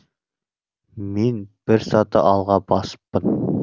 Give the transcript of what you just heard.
мен бір саты алға басыппын